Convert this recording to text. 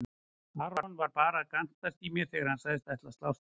Aron var bara að gantast í mér þegar hann sagðist ætla að slást við mig.